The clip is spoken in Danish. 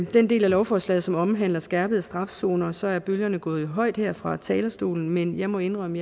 den del af lovforslaget som omhandler skærpet straf zoner så er bølgerne gået højt her fra talerstolen men jeg må indrømme